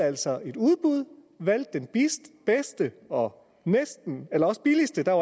altså et udbud og valgte den bedste og billigste der